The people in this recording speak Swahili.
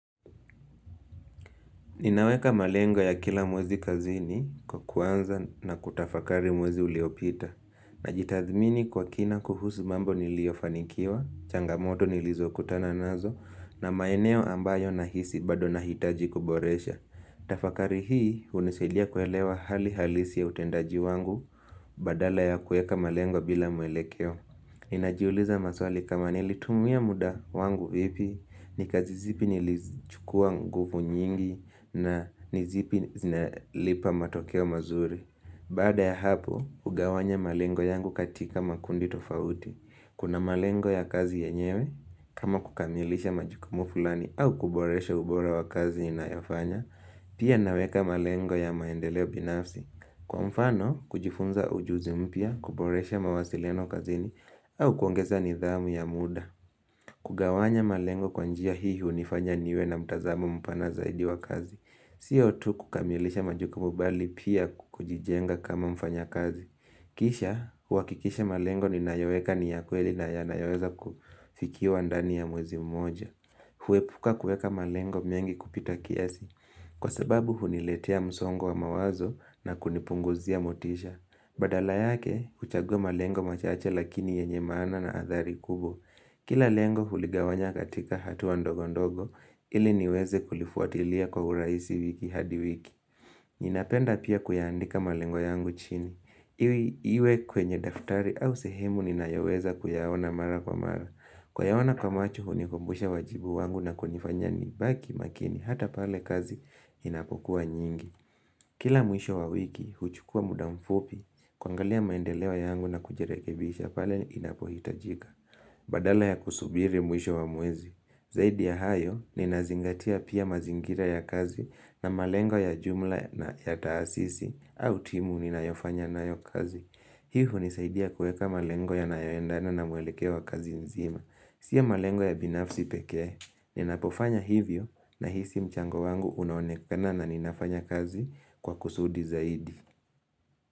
Ninaweka malengo ya kila mwezi kazini kwa kuanza na kutafakari mwezi uliopita. Najitathmini kwa kina kuhusu mambo niliofanikiwa, changamoto nilizokutana nazo, na maeneo ambayo nahisi bado nahitaji kuboresha. Tafakari hii unisaidia kuelewa hali halisi ya utendaji wangu badala ya kueka malengo bila mwelekeo. Ninajiuliza maswali kama nilitumia muda wangu vipi, nikazizipi nilichukua nguvu nyingi na nizipi zinalipa matokeo mazuri. Baada ya hapo, ugawanya malengo yangu katika makundi tofauti. Kuna malengo ya kazi yenyewe, kama kukamilisha majukumu fulani au kuboresha ubora wa kazi inayofanya, pia naweka malengo ya maendeleo binafsi. Kwa mfano, kujifunza ujuzi mpya, kuboresha mawasiliano kazini au kuongeza nidhamu ya muda kugawanya malengo kwa njia hihi unifanya niwe na mtazamo mpana zaidi wa kazi Sio tu kukamilisha majukumu mbali pia kujijenga kama mfanya kazi Kisha, huwakikisha malengo ni nayoeka niyakweli na ya nayoeza kufikiwa ndani ya mwezi mmoja Huepuka kueka malengo mengi kupita kiasi Kwa sababu huniletia msongo wa mawazo na kunipunguzia motisha. Badala yake, huchagua malengo machache lakini yenye maana na athari kubwa. Kila lengo huligawanya katika hatua ndogo ndogo, ili niweze kulifuatilia kwa uraisi wiki hadi wiki. Ninapenda pia kuiandika malengo yangu chini. Iwe kwenye daftari au sehemu ninayoweza kuyaona mara kwa mara. Kuyaona kwa macho hunikumbusha wajibu wangu na kunifanya ni baki makini hata pale kazi inapokuwa nyingi. Kila mwisho wa wiki huchukua muda mfupi kuangalia maendeleo yangu na kujirekebisha pale inapohitajika. Badala ya kusubiri mwisho wa mwezi, zaidi ya hayo ninazingatia pia mazingira ya kazi na malengo ya jumla ya taasisi au timu ninayofanya na yo kazi. Hii hunisaidia kueka malengo ya nayoendana na mwelekeo wa kazi nzima. Sio ya malengo ya binafsi pekee. Ninapofanya hivyo na hisi mchango wangu unaonekana na ninafanya kazi kwa kusudi zaidi.